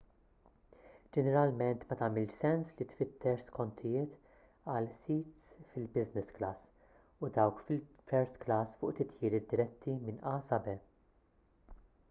ġeneralment ma tagħmilx sens li tfittex skontijiet għal sits fil-business class u dawk fil-first class fuq titjiriet diretti minn a sa b